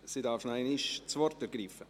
Sie darf nochmals das Wort ergreifen.